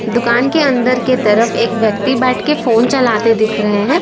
दुकान के अंदर के तरफ एक व्यक्ति बैठ के फोन चलाते दिख रहे है।